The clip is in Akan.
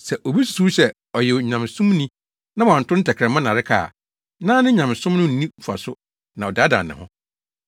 Sɛ obi susuw sɛ ɔyɛ Onyamesomni na wanto ne tɛkrɛma nnareka a, ne nyamesom no so nni mfaso na ɔdaadaa ne ho nso.